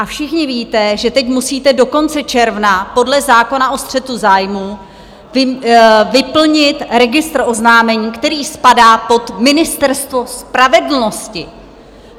A všichni víte, že teď musíte do konce června podle zákona o střetu zájmů vyplnit registr oznámení, který spadá pod Ministerstvo spravedlnosti.